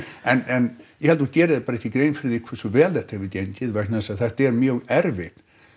en ég held að þú gerir þér bara ekki grein fyrir því hversu vel þetta hefur gengið vegna þess að þetta er mjög erfitt